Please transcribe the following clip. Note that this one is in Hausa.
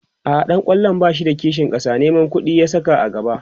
a'a ɗan kwallon bashi da kishin ƙasa Neman ƙuɗi ya Saka a gaba